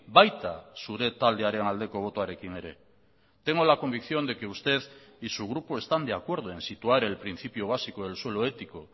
baita zure taldearen aldeko botoarekin ere tengo la convicción de que usted y su grupo están de acuerdo en situar el principio básico del suelo ético